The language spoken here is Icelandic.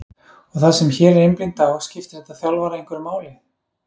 og það sem hér er einblínt á, skiptir þetta þjálfara einhverju máli?